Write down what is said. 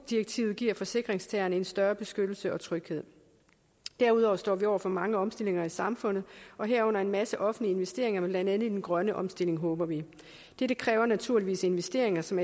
direktivet giver forsikringstagerne en større beskyttelse og tryghed derudover står vi over for mange omstillinger i samfundet herunder en masse offentlige investeringer med blandt andet den grønne omstilling håber vi dette kræver naturligvis investeringer som